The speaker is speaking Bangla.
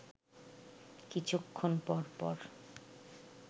কিছুক্ষণ পরপর